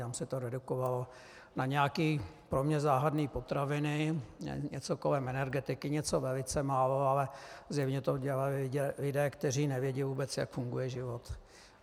Tam se to redukovalo na nějaké pro mě záhadné potraviny, něco kolem energetiky, něco velice málo, ale zjevně to dělali lidé, kteří nevědí vůbec, jak funguje život.